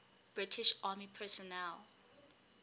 british army personnel